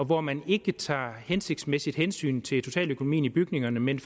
hvor man ikke tager et hensigtsmæssigt hensyn til totaløkonomien i bygningerne men